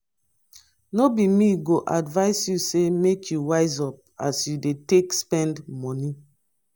no be me go advise you sey make you wise up as you dey take spend moni.